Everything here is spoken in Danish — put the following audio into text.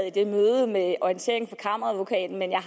i det møde med orienteringen fra kammeradvokaten men jeg